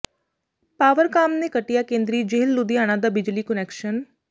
ਪਾਵਰਕਾਮ ਨੇ ਕੱਟਿਆ ਕੇਂਦਰੀ ਜੇਲ੍ਹ ਲੁਧਿਆਣਾ ਦਾ ਬਿਜਲੀ ਕੁਨੈਕਸ਼ਨ